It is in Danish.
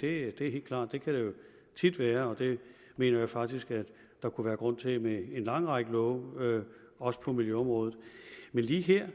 det er helt klart det kan der jo tit være og det mener jeg faktisk at der kunne være grund til med en lang række love også på miljøområdet men lige her